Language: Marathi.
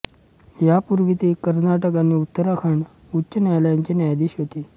यापूर्वी ते कर्नाटक आणि उत्तराखंड उच्च न्यायालायाचे न्यायाधीश होते